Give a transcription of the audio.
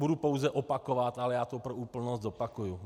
Budu pouze opakovat, ale já to pro úplnost zopakuji.